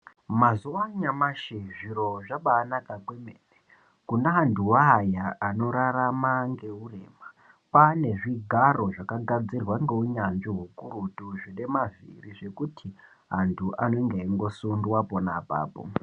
Mazuwaanyamashi zviro zvambaanaka kwemene kune anthu aya anorarama ngeurema kwaane zvigaro zvakagadziirwa ngeunyanzvi ukurutu zvine mavhiri zvekuti anthu anenge eingosundwa pona apapo.